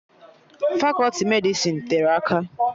Fakọti Medịsịn tere aka